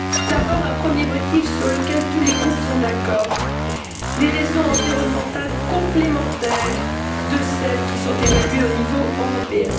D'abord, un premier motif sur lequel tous les groupes sont d'accord les raisons environnementales complémentaires de celles qui sont évaluées au niveau européen.